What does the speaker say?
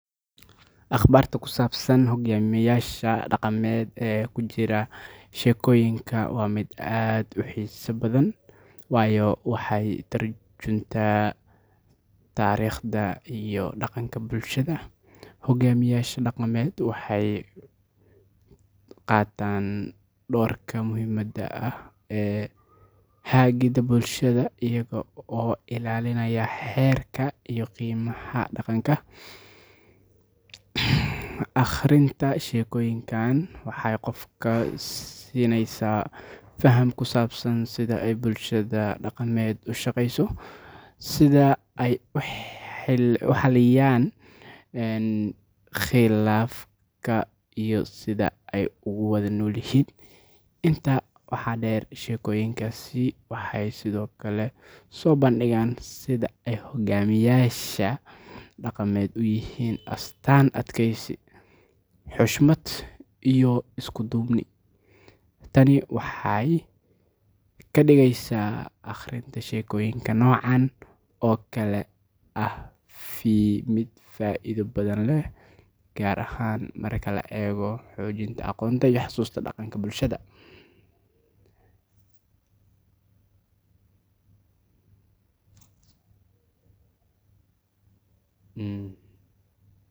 Akhbaarta ku saabsan hogaamiyayaasha dhaqameed ee ku jira sheekooyinka waa mid aad u xiiso badan, waayo waxay ka tarjuntaan taariikhda iyo dhaqanka bulshada. Hogaamiyayaasha dhaqameed waxay qaataan doorka muhiimka ah ee hagidda bulshada iyaga oo ilaalinaya xeerarka iyo qiyamka dhaqanka. Akhrinta sheekooyinkan waxay qofka siinaysaa faham ku saabsan sida ay bulshada dhaqameed u shaqeyso, sida ay u xaliyaan khilaafaadka, iyo sida ay ugu wada noolyihiin. Intaa waxaa dheer, sheekooyinkaasi waxay sidoo kale soo bandhigaan sida ay hogaamiyayaasha dhaqameed u yihiin astaan adkeysi, xushmad, iyo isku duubni. Tani waxay ka dhigaysaa akhrinta sheekooyinka noocan oo kale ah mid faa'iido badan leh, gaar ahaan marka la eego xoojinta aqoonta iyo xusuusta dhaqanka bulshada.